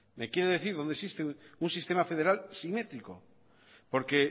me quiere decir dónde existe un sistema federal simétrico porque